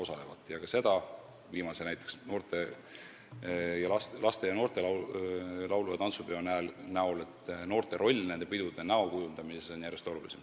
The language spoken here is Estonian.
Tuleb mainida ka seda, viimaseks näiteks tuues laste ja noorte laulu- ja tantsupeo, et noorte roll nende pidude näo kujundamisel on järjest olulisem.